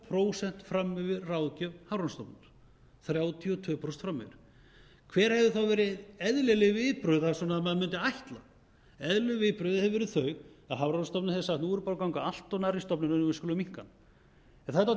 prósent fram yfir ráðgjöf hafrannsóknastofnunar hver hefðu þá verið eðlileg viðbrögð að menn mundu ætla eðlileg viðbrögð hefðu verið þau að hafrannsóknastofnun hefði sagt nú erum við búin að ganga allt of nærri stofninum og við skulum minnka það það er dálítið merkilegt